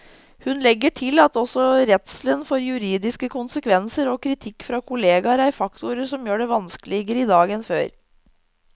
Hun legger til at også redselen for juridiske konsekvenser og kritikk fra kolleger er faktorer som gjør det vanskeligere i dag enn før.